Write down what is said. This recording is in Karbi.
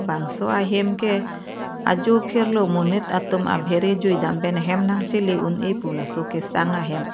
bangso ahem ke ajo phirlo monit atum abehere jui dam pen hem nang chele un eh pu laso kesang ahem.